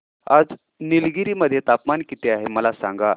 आज निलगिरी मध्ये तापमान किती आहे मला सांगा